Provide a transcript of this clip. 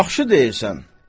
Yaxşı deyirsən.